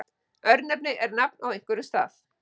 örnefni er nafn á einhverjum stað